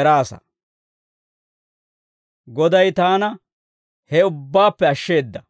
eraasa. Goday taana he ubbaappe ashsheeda.